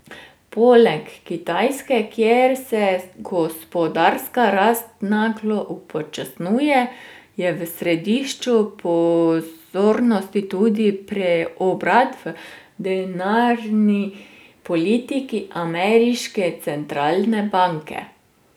Poleg Kitajske, kjer se gospodarska rast naglo upočasnjuje, je v središču pozornosti tudi preobrat v denarni politiki ameriške centralne banke.